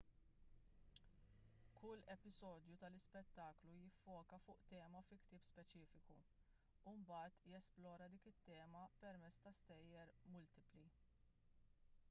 kull episodju tal-ispettaklu jiffoka fuq tema fi ktieb speċifiku u mbagħad jesplora dik it-tema permezz ta' stejjer multipli